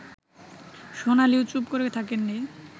সোনালিও চুপ করে থাকেননি